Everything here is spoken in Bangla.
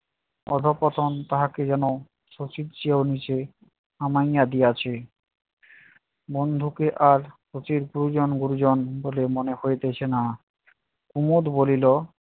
অধঃপতন তাহাকে যেন শশির চেয়েও নিচে থামাইয়া দিয়াছে। বন্ধুকে আর শশীর গুরুজন গুরুজন বলে মনে হইতেছে না। কুমদ বলিল